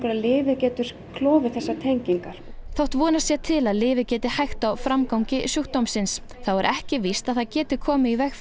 að lyfið getur klofið þessar tengingar þótt vonast sé til að lyfið geti hægt á framgangi sjúkdómsins þá er ekki víst að það geti komið í veg